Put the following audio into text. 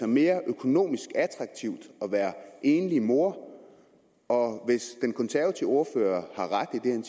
mere økonomisk attraktivt at være enlig mor og hvis den konservative ordfører har ret